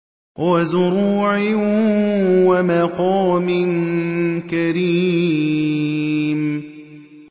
وَزُرُوعٍ وَمَقَامٍ كَرِيمٍ